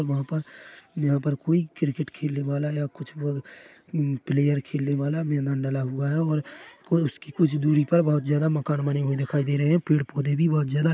वहाँ पर यहाँ पर कोई क्रिकेट खेलने वाला या कुछ और कुछ प्लेयर खेलने वाला मैदान डला हुआ है और कोई उसकी कुछ दुरी पर बहुत ज्यादा मकान बने हुए दिखाई दे रहे है पेड़ पौधे भी बहुत ज्यादा--